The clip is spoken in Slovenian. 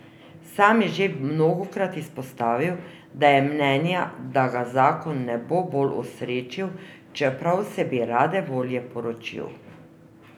Sam je že mnogokrat izpostavil, da je mnenja, da ga zakon ne bo bolj osrečil, čeprav se bi rade volje poročil.